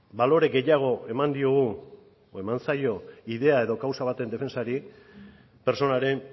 balore gehiago eman diogu o eman zaio ideia edo kausa baten defentsari pertsonaren